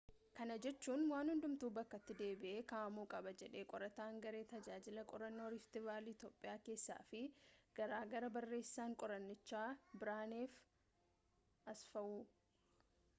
kana jechuun waan hundumtuu bakkatti deebi'ee ka'amuu qaba jedhe qorataan garee tajaajila qorannoo riift vaalii itoophiyaa keessaa fi gargaaraa barreessaan qorannichaa birhaanee asfwaaw